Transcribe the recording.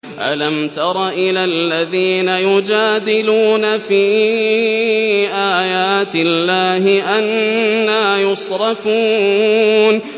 أَلَمْ تَرَ إِلَى الَّذِينَ يُجَادِلُونَ فِي آيَاتِ اللَّهِ أَنَّىٰ يُصْرَفُونَ